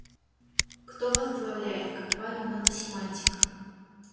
кто возглавляет компанию наносемантика